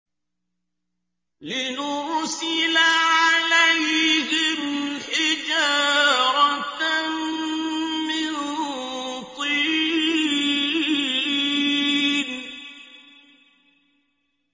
لِنُرْسِلَ عَلَيْهِمْ حِجَارَةً مِّن طِينٍ